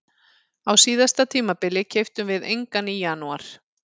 Á síðasta tímabili keyptum við engan í janúar.